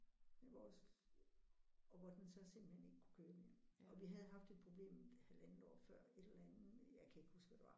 Med vores og hvor den så simpelthen ikke kunne køre mere og vi havde haft et problem halvandet år før et eller andet jeg kan ikke huske hvad det var